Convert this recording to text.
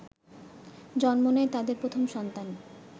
জন্ম নেয় তাদের প্রথম সন্তান